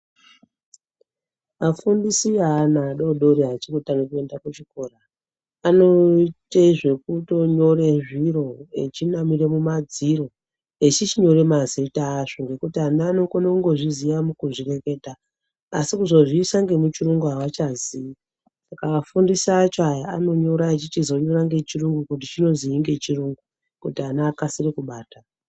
Vafundisi veana aDodori achiri kutange kuende kuzvikora anoite zvekunyore zviro echinamire mumadziro echichinyore mazita azvo ngekuti ana anokone kungozviziya mukuzvireketa asi kuzozviisa ngemuchiyungu avachaziii